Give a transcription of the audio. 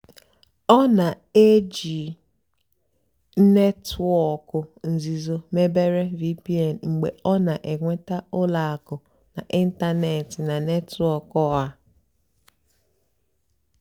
ọ́ nà-èjì nétwọ́ọ̀kụ́ nzìzó mébéré (vpn) mgbe ọ́ nà-ènwètá ùlọ àkụ́ n'ị́ntánètị́ nà nétwọ́kụ̀ ọ́hà.